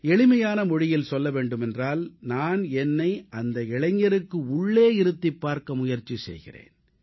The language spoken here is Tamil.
எளிமையான மொழியில் சொல்ல வேண்டுமென்றால் நான் என்னை அந்த இளைஞருக்கு உள்ளே இருந்து பார்க்க முயற்சி செய்கிறேன்